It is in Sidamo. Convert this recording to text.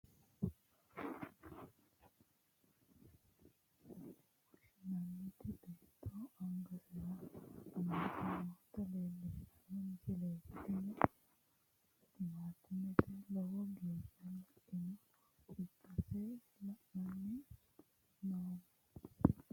tini msile lellishshannohu muronna laalote giddonni mitte ikkitinota timaatimete yine woshshinannita beetto angasira amade noota leellishshanno misileeti, tini timaatimeno lowo geeshsha le'inota ikkase la'anni noommo.